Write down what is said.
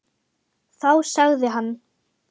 Þá sagði hann